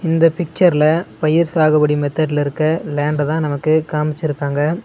இந்த பிச்சர்ல பயிர் சாகுபடி மெத்தட்ல இருக்க லேண்டதா நமக்கு காம்ச்சிருக்காங்க.